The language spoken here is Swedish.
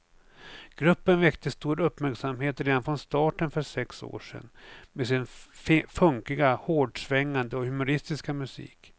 Gruppen väckte stor uppmärksamhet redan från starten för sex år sedan med sin funkiga, hårdsvängande och humoristiska musik.